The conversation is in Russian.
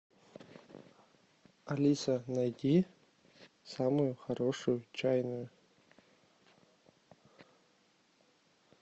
алиса найди самую хорошую чайную